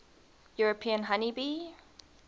european honey bee